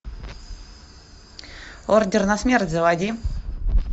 ордер на смерть заводи